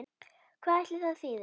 Hvað ætli það þýði?